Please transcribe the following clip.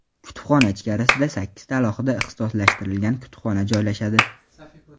Kutubxona ichkarisida sakkizta alohida ixtisoslashtirilgan kutubxona joylashadi.